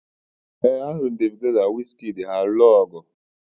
ee, ahụrụ m Davido na wizkid ọgụ